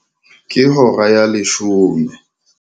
Ke hora ya leshome.